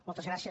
moltes gràcies